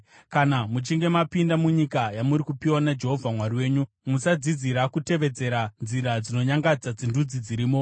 Kana muchinge mapinda munyika yamuri kupiwa naJehovha Mwari wenyu, musadzidzira kutevedzera nzira dzinonyangadza dzendudzi dzirimo.